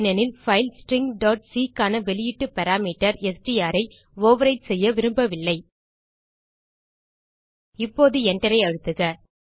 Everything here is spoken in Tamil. ஏனெனில் பைல் stringசி க்கான வெளியீட்டு பாராமீட்டர் எஸ்டிஆர் ஐ ஓவர்விரைட் செய்ய விரும்பவில்லை இப்போது Enter ஐ அழுத்துக